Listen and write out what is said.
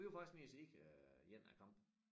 Vi var faktisk nede at se øh 1 af æ kampe